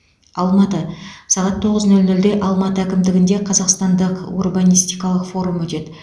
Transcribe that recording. алматы сағат тоғыз нөл нөлде алматы әкімдігінде қазақстандық урбанистикалық форум өтеді